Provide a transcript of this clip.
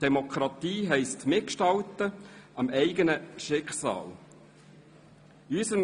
Demokratie heisst, das eigene Schicksal mitzugestalten;